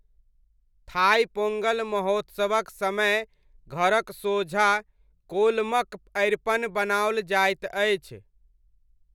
Thai Pongal महोत्सवक समय घरक सोझाँ कोलमक अरिपन बनाओल जाइत अछि।